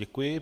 Děkuji.